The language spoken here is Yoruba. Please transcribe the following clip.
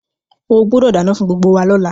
O gbúdọ̀ dánán fún gbgbo wa lọ́la